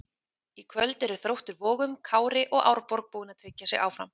Í kvöld eru Þróttur Vogum, Kári og Árborg búin að tryggja sig áfram.